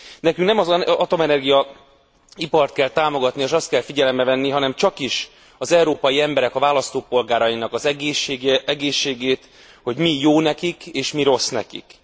Nekünk nem az atomenergia ipart kell támogatni és azt kell figyelembe venni, hanem csakis az európai emberek, a választópolgárainknak az egészségét, hogy mi jó nekik és mi rossz nekik.